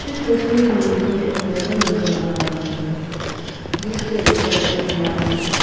तस्वीर में मुझे एक टेबल नजर आ रहा है जिसके ऊपर एक ग्लास है।